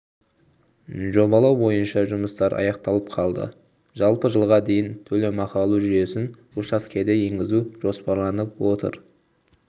жобалау бойынша жұмыстар аяқталып қалды жалпы жылға дейін төлемақы алу жүйесін учаскеде енгізу жоспарланып отыр